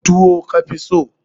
Tuwo ka fi so?